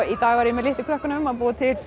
í dag var ég með litlu börnunum að búa til